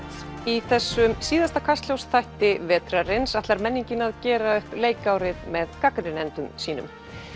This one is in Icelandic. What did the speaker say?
í þessum síðasta Kastljós þætti vetrarins ætlar menningin að gera upp leikárið með gagnrýnendum sínum